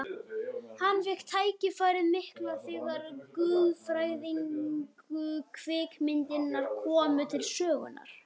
Hann fékk tækifærið mikla þegar guðfræðilegu kvikmyndirnar komu til sögunnar.